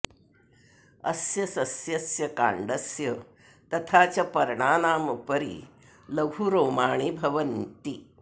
अस्य सस्यस्य काण्डस्य तथा च पर्णानाम् उपरि लघु रोमाणि भवन्ति